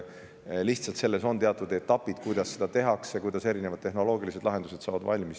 Lihtsalt sellel on teatud etapid, kuidas seda tehakse, ja tehnoloogilised lahendused valmis saavad.